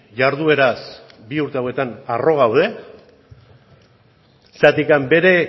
jardueraz bi urte hauetan arro gaude zergatik bere